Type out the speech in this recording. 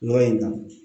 Nɔ in na